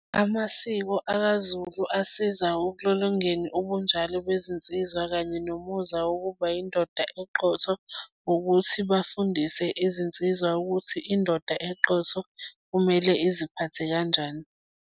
Amasiko akaZulu asiza ukulolongeni ubunjalo bezinsizwa kanye nomuzwa wokuba yindoda eqotho, ukuthi bafundise izinsizwa ukuthi indoda eqotho kumele iziphathe kanjani.